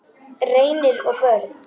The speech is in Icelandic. Reynir og börn.